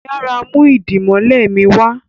yàrá mú idimole mi wá.